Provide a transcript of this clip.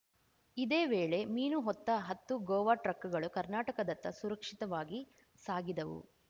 ಇದೇ ವೇಳೆ ಮೀನು ಹೊತ್ತ ಹತ್ತು ಗೋವಾ ಟ್ರಕ್ಕುಗಳು ಕರ್ನಾಟಕದತ್ತ ಸುರಕ್ಷಿತವಾಗಿ ಸಾಗಿದವು